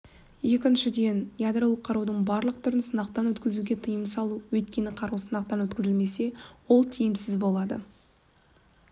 екіншіден ядролық қарудықң барлық түрін сынақтан өткізуге тиым салу өйткені қару сынақтан өткізілмесе ол тиімсіз болады